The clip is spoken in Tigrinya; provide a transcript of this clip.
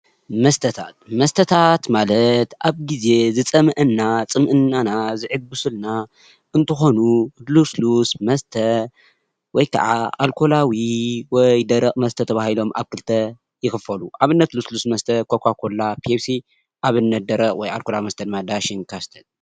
መስታት፡- መስታት ማለት ኣብ ግዜ ዝፀመአና ፅምእናና ዝዕጉስልና እንተኾኑ ሉስሉስ መስተ ወይ ከዓ ኣልኮላዊ ወይ ደረቅ መስተ ተባሂሎም ኣብ ክልተ ይክፈሉ፡፡ ኣብነት ሉስሉስ መስተ ኮካ ኮላ ፣ፔፕሲ ኣብነት ደረቕ ወይ ኣልኮላዊ መስተ ድማ ዳሽን ፣ካስትል ።